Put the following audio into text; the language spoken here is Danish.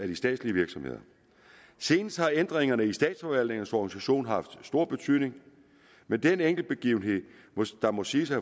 de statslige virksomheder senest har ændringerne i statsforvaltningernes organisation haft stor betydning men den enkeltbegivenhed der må siges at